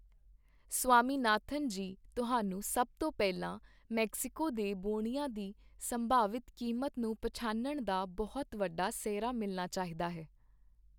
ਸਵਾਮੀਨਾਥਨ ਜੀ, ਤੁਹਾਨੂੰ ਸਭ ਤੋਂ ਪਹਿਲਾਂ ਮੈਕਸੀਕੋ ਦੇ ਬੌਣਿਆਂ ਦੀ ਸੰਭਾਵਿਤ ਕੀਮਤ ਨੂੰ ਪਛਾਣਨ ਦਾ ਬਹੁਤ ਵੱਡਾ ਸਿਹਰਾ ਮਿਲਣਾ ਚਾਹੀਦਾ ਹੈ।